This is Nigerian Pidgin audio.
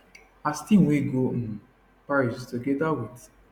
as team wey go um paris togeda wit